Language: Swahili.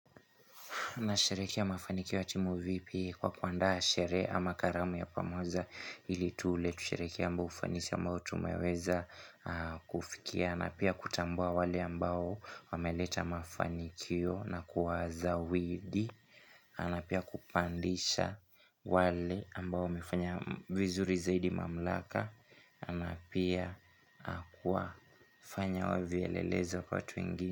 Tunashereki ya mafanikio ya timu vipi kwa kuandaa shere ama karamu ya pamoja ili tule. Kusherekea ambao ufanisi ambao tumeweza kufikia. N pia kutambua wale ambao wameleta mafanikio na kuwazawidi. Anapia kupandisha wale ambao wamefanya vizuri zaidi mamlaka. Anapia kuwafanya wavyelelezo kwa watu wengi.